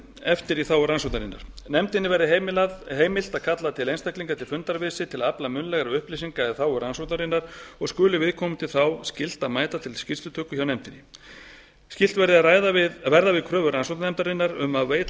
eftir í þágu rannsóknarinnar nefndinni verði heimilt að kalla einstaklinga til fundar við sig til að afla munnlegra upplýsinga í þágu rannsóknarinnar og skuli viðkomandi þá skylt að mæta til skýrslutöku hjá nefndinni skylt verði að verða við kröfu rannsóknarnefndarinnar um að veita